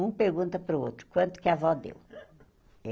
Um pergunta para o outro, quanto que a vó deu?